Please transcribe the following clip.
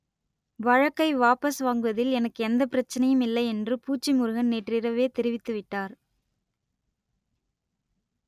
வழக்கை வாபஸ் வாங்குவதில் எனக்கு எந்தப் பிரச்சனையும் இல்லை என்று பூச்சி முருகன் நேற்றிரவே தெரிவித்துவிட்டார்